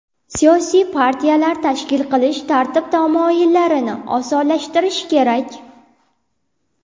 Siyosiy partiyalar tashkil qilish tartib-taomillarini osonlashtirish kerak.